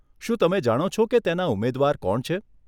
શું તમે જાણો છો કે તેના ઉમેદવાર કોણ છે?